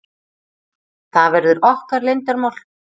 Það verður okkar leyndarmál.